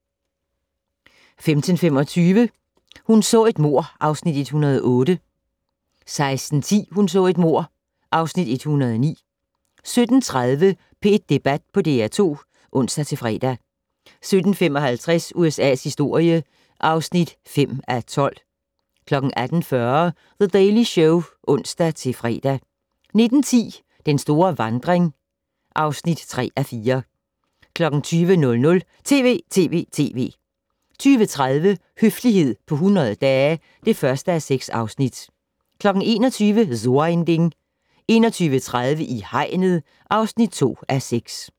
15:25: Hun så et mord (Afs. 108) 16:10: Hun så et mord (Afs. 109) 17:30: P1 Debat på DR2 (ons-fre) 17:55: USA's historie (5:12) 18:40: The Daily Show (ons-fre) 19:10: Den store vandring (3:4) 20:00: TV!TV!TV! 20:30: Høflighed på 100 dage (1:6) 21:00: So ein Ding 21:30: I hegnet (2:6)